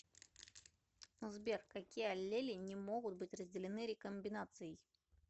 сбер какие аллели не могут быть разделены рекомбинацией